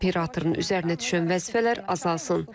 Operatorun üzərinə düşən vəzifələr azalsın.